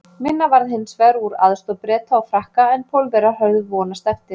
Minna varð hins vegar úr aðstoð Breta og Frakka en Pólverjar höfðu vonast eftir.